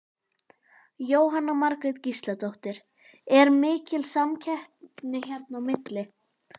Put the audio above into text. Jóhanna Margrét Gísladóttir: Er mikil samkeppni hérna á milli?